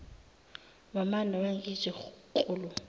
wamane wangithi klulu